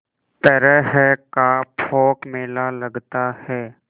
तरह का पोंख मेला लगता है